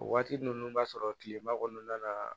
O waati ninnu b'a sɔrɔ tilema kɔnɔna na